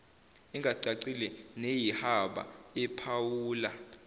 engacacile neyihaba ephawula